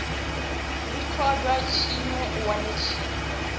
rikundwa tshinwe u wane tshinwe